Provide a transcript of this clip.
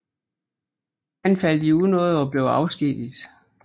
Han faldt i unåde og blev afskediget